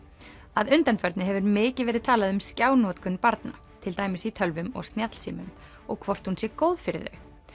að undanförnu hefur mikið verið talað um skjánotkun barna til dæmis í tölvum og snjallsímum og hvort hún sé góð fyrir þau